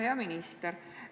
Hea minister!